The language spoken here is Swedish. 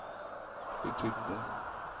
betydde